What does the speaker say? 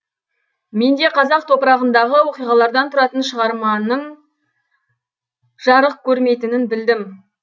мен де қазақ топырағындағы оқиғалардан тұратын шығарманың жарық көрмейтінін білдім